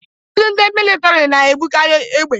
Ụfọdụ ndị militọri na-ebukarị égbè.